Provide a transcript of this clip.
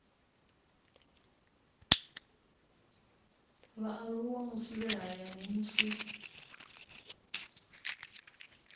vhaaluwa musi vhe hayani musi